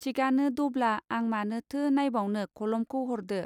थिकआनो दब्ला आं मानोथो नाइबावनो कलमखौ हरदो.